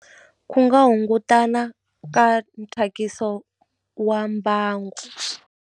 Ku nga hungutana ka nthyakiso wa mbangu.